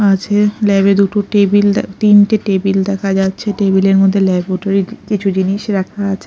আছে ল্যাব -এ দুটো টেবিল তিনটে টেবিল দেখা যাচ্ছে টেবিল -এর মধ্যে ল্যাবরেটরি -এর কিছু জিনিস রাখা আছে।